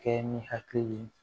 Kɛ ni hakili ye